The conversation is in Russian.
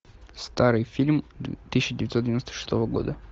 старый фильм тысяча девятьсот девяносто шестого года